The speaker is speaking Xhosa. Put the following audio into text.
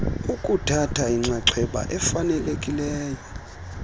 ukuthatha inxaxheba efanelekileyo